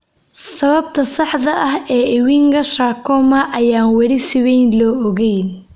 Sababta saxda ah ee Ewinga sarcoma ayaan weli si weyn loo ogeyn.